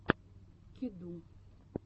кеду